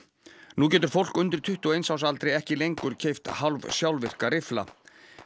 nú getur fólk undir tuttugu og eins árs aldri ekki lengur keypt hálfsjálfvirka riffla